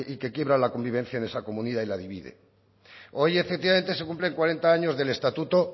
que quiebra la convivencia de esa comunidad y la divide hoy efectivamente se cumplen cuarenta años del estatuto